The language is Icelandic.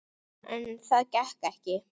En það gekk ekki.